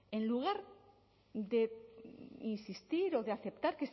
en lugar de insistir o de aceptar